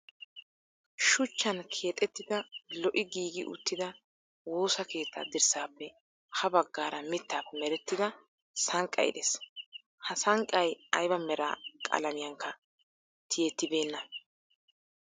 Shuchchaan keexettida lo"i giigi uttida woosa keettaa dirssaappe ha baggaara mittaappe merettida sanqqayi des. Ha sanqqay ayiba mera qalamiyankka ti''ettibeenna.